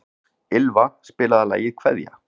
Ýlfa, spilaðu lagið „Kveðja“.